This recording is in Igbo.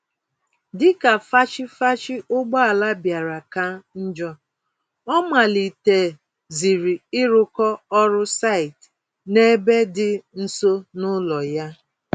Dịka fachi-fachi ụgbọala bịara ka njọ, ọ malite ziri ịrụkọ ọrụ site n'ebe dị nso n'ụlọ ya.